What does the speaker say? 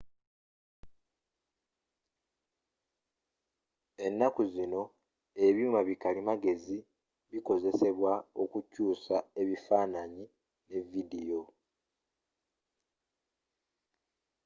ennaku zino ebyuma bi kalimagezi bikozesebwa okukyusamu ebifananyi ne vidiyo